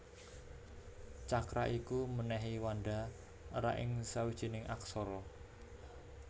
Cakra iku mènèhi wanda ra ing sawijining aksara